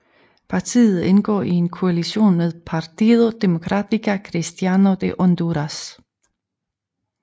Partiet indgår i en koalition med Partido Demócrata Cristiano de Honduras